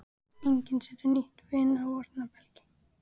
Enginn setur nýtt vín á forna belgi.